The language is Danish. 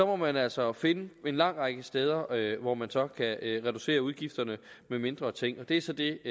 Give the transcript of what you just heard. må man altså finde en lang række steder hvor man så kan reducere udgifterne i form af mindre ting og det er så det